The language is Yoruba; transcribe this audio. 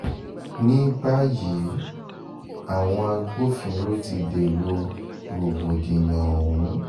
ní báyìí àwọn agbófinró ti dèrò rògbòdìyàn ọ̀hún